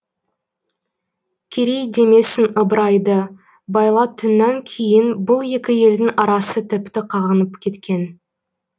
керей демесін ыбырайды байлайтүннан кейін бұл екі елдің арасы тіпті қағынып кеткен